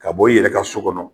Ka bɔ i yɛrɛ ka so kɔnɔ